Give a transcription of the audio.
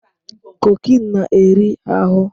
Cocaine na-eri ahụ